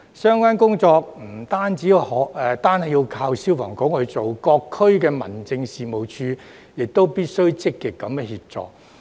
相關工作不僅靠消防處進行，各區民政事務處亦必須積極協助。